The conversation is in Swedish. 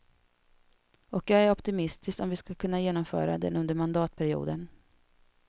Och jag ör optimistisk om att vi ska kunna genomföra den under mandatperioden.